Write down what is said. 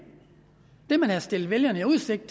det man havde stillet vælgerne i udsigt